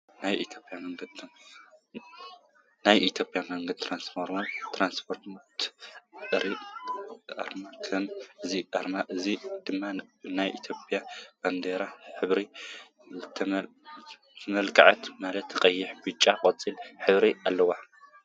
ናይ ኢትዮጰያ መንገዲ ትራስፖርት ኣርማ ኮይኑ እዚ ኣርማ እዚ ድማ ብናይ ኢትዮጰያ ባንዴራ ሕብሪ ዝተመላከዐ ማለት ቀይሕ ብጫን ቆፃልን ሕብሪታት ኣለውዎ።